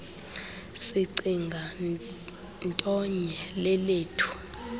sicinga ntonye lelethu